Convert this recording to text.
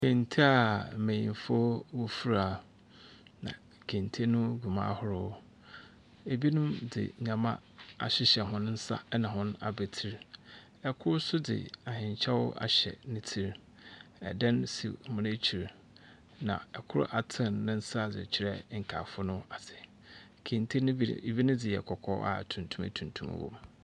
Kente a mbenyinfo wofira, na kente no gu mu ahorow. Binon dze ndzɛmba ahyehɛ hɔ nsa na hɔn a betsir. Kor nso dze ahenkyɛw ahyɛ ne tsir. Dan si hɔn ekyir, na kor atsen ne nsa dze rekyerɛ nkaafo no ase. Kente no bi bi ne dze yɛ kɔkɔɔ a tumtum tuntum wɔ mu.